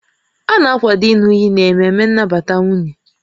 A na-akwado ịñụ iyi n'ememe nnabata nwunye